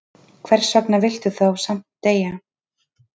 Hversvegna viltu þá samt deyja?